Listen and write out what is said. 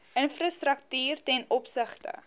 infrastruktuur ten opsigte